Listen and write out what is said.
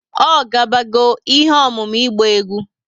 O ga bago ihe ọmụmụ ịgba egwú?